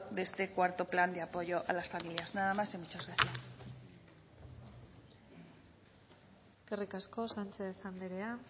de este cuarto plan de apoyo a las familias nada más y muchas gracias eskerrik asko sánchez andrea